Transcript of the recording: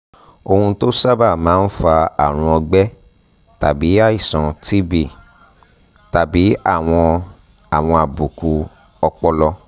ohun tó sábà máa ń fa àrùn ọgbẹ tàbí àìsàn tb tàbí àwọn àwọn àbùkù ọpọlọ